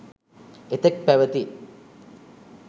එතෙක් පැවැති